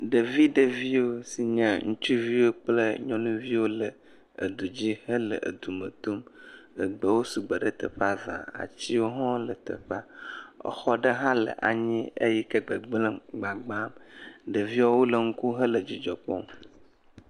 Ɖevi ɖeviwo si nye nyɔnuviwo kple ŋutsuviwo le edu dzi hele du me tom, egbewo sugbɔ ɖe teƒea za, atiwo hã wole teƒea, exɔ ɖe hã le anyi eyi ke gbegblẽm, gbagbam, ɖeviwo le nu kom hele dzidzɔ kpɔm.